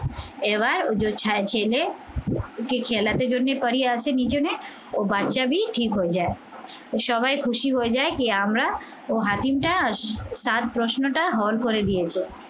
এবার ওযো ছা ছেলে আসে নি জনে ও বাচ্চাবি ঠিক হয়ে যায় তো সবাই খুশি হয়ে যায় কি আমরা ও হাতিমটা তার প্রশ্নটা হল করে দিয়েছো